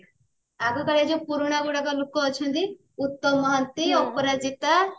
ଆଗକାଳିଆ ଯାଉ ପୁରୁଣା ଗୁଡାକ ଲୋକ ଅଛନ୍ତି ଉତ୍ତମ ମହାନ୍ତି ଅପରାଜିତା